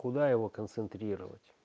куда его концентрировать